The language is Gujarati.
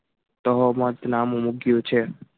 નામુ મૂક્યું છે.